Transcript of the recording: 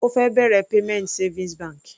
Ó fẹ́ bẹ̀rẹ̀ payment savings bank.